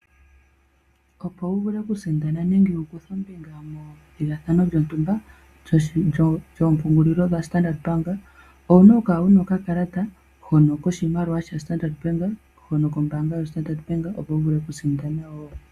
Opo wu vule okusindana nenge wu kuthe ombinga methigathano lyontumba lyoompungulilo dha Standard Bank owuna oku kala wuna okakalata hono koshimaliwa shaStandard Bank hono kombaanga yoStandard Bank opo wuvule okusindana wo.